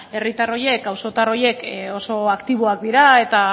herritar horiek auzotar horiek oso aktiboak dira eta